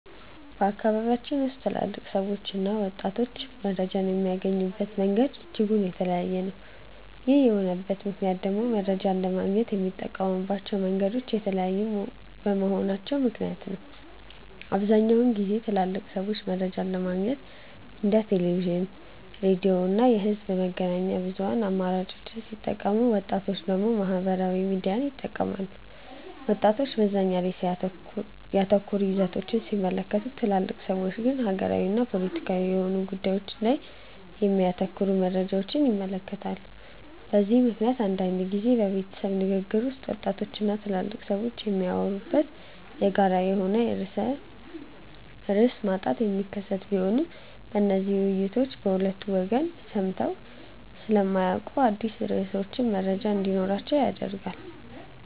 በአካባቢያችን ውስጥ ትልልቅ ሰዎችና ወጣቶች መረጃን የሚያገኙበት መንገድ እጅጉን የተለያየ ነው። ይህ የሆነበት ምክንያት ደግሞ መረጃን ለማግኘት የሚጠቀሙባቸው መንገዶች የተለያዩ በመሆናቸው ምክንያት ነው። በአብዛኛውን ጊዜ ትልልቅ ሰዎች መረጃን ለማግኘት እንደ ቴሌቪዥን፣ ሬዲዮ ያሉ የህዝብ መገናኛ ብዙሃን አማራጮችን ሲጠቀሙ ወጣቶች ደግሞ ማህበራዊ ሚዲያን ይጠቀማሉ። ወጣቶች መዝናኛ ላይ ያተኮሩ ይዘቶችን ሲመለከቱ ትልልቅ ሰዎች ግን ሀገራዊና ፖለቲካዊ የሆኑ ጉዳዮች ላይ የሚያተኩሩ መረጃዎችን ይመለከታሉ። በዚህ ምክንያት አንዳንድ ጊዜ በቤተሰብ ንግግር ውስጥ ወጣቶች እና ትልልቅ ሰዎች የሚያወሩበት የጋራ የሆነ ርዕስ ማጣት የሚከሰት ቢሆንም እነዚህ ውይይቶች በሁለቱ ወገን ሰምተው ስለማያውቁት አዳዲስ ርዕሶች መረጃ እንዲኖራቸው ያደርጋል።